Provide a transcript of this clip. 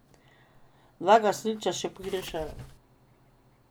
Dva gasilca še pogrešajo.